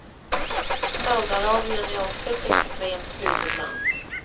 Saudiarabien är också ett extremt slutet land.